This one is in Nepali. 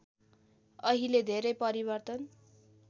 अहिले धेरै परिवर्तन